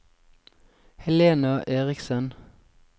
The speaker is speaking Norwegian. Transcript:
Helena Eriksen